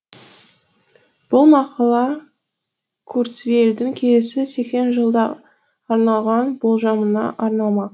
бұл мақала курцвейлдің келесі сексен жылда арналған болжамына арналмақ